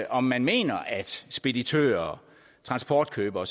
om man mener at speditører transportkøbere og